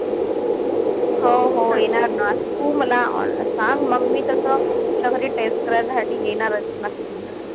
हो हो येणार ना. तू मला सांग मंग मी तस तुझ्या घरी taste करायसाठी येणारच नक्की.